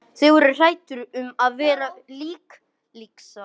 Þeir voru hræddir um að verða innlyksa.